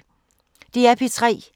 DR P3